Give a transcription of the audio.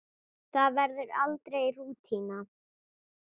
Það verður aldrei rútína.